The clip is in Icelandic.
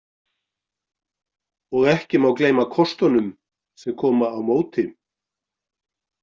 Og ekki má gleyma kostunum sem koma á móti.